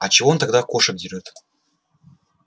а чего он тогда кошек дерёт